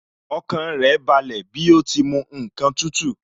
Ọkàn rẹ̀ balẹ̀ bí ó ti mu ǹkan tútù